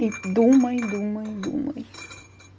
думай думай думай